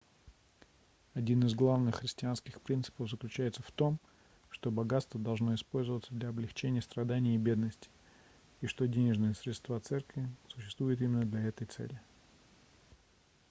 один из главных христианских принципов заключается в том что богатство должно использоваться для облегчения страданий и бедности и что денежные средства церкви существуют именно для этой цели